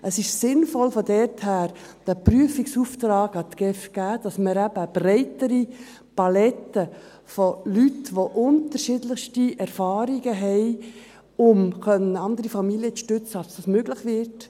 Es ist von daher sinnvoll, diesen Prüfungsauftrag an die GEF zu geben, sodass wir eben eine breitere Palette von Leuten haben, die unterschiedlichste Erfahrungen haben, um andere Familien zu stützen, sodass das möglich wird.